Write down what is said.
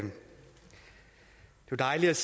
jo dejligt